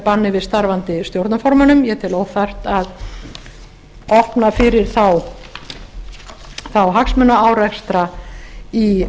banni við starfandi stjórnarformönnum ég tel óþarft að opna fyrir þá hagsmunaárekstra í